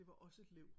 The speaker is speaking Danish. Det var også et liv